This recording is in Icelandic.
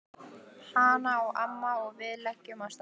Hana á amma og við leigjum af henni.